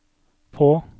på